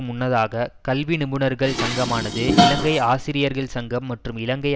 முன்னதாக கல்வி நிபுணர்கள் சங்கமானது இலங்கை ஆசிரியர்கள் சங்கம் மற்றும் இலங்கை